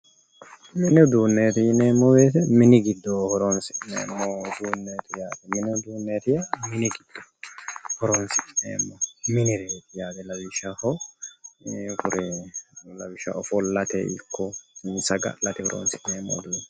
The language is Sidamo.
Mini uduuneti yineemmo woyte mini giddo horonsi'neemmo uduuneti yaate lawishshaho ofollate ikko saga'late horonsi'neemmoreti